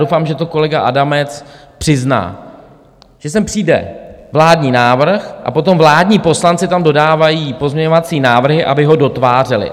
Doufám, že to kolega Adamec přizná, že sem přijde vládní návrh a potom vládní poslanci tam dodávají pozměňovací návrhy, aby ho dotvářeli.